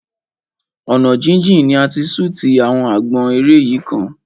Ọ̀nà jíjìn ni a ti ṣútì àwọn àgbọn eré yìí kan.